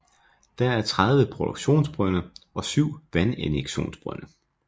Der er 13 produktionsbrønde og 7 vandinjektionsbrønde